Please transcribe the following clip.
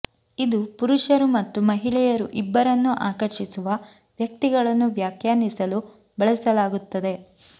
ಇದು ಪುರುಷರು ಮತ್ತು ಮಹಿಳೆಯರು ಇಬ್ಬರನ್ನೂ ಆಕರ್ಷಿಸುವ ವ್ಯಕ್ತಿಗಳನ್ನು ವ್ಯಾಖ್ಯಾನಿಸಲು ಬಳಸಲಾಗುತ್ತದೆ